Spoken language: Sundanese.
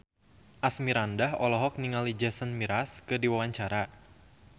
Asmirandah olohok ningali Jason Mraz keur diwawancara